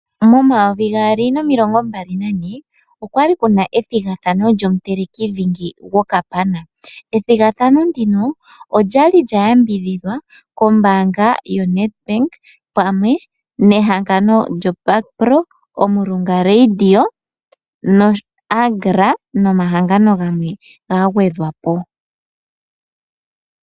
Momayovi gaali nomilongo mbali na ne okwali kuna ethigathano lyomutelekidhingi gwokapana. Ethigathano olya li lya yambidhidhwa kombaanga yo NedBank pamwe nehangano lyo Bakpro, Omurunga radio, noAgra nimahangano gamwe ga gwedhwa po.